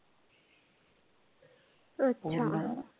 अच्छा.